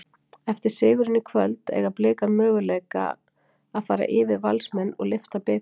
Eftir sigurinn í kvöld, eiga Blikar möguleika fara yfir Valsmenn og lyfta bikar?